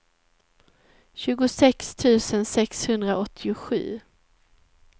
tjugosex tusen sexhundraåttiosju